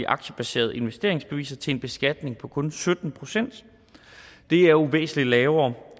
aktiebaserede investeringsbeviser til en beskatning på kun sytten procent det er jo væsentlig lavere